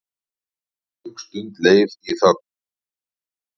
Löng stund leið í þögn.